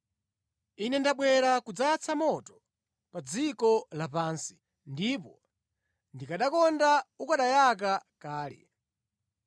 “Ine ndabwera kudzayatsa moto pa dziko lapansi, ndipo ndikanakonda ukanayaka kale.